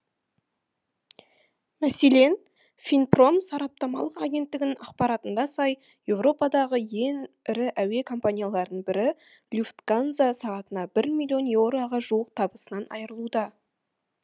мәселен финпром сараптамалық агенттігінің ақпаратына сай европадағы ең ірі әуе компанияларының бірі люфтганза сағатына бір миллион еуроға жуық табысынан айырылуда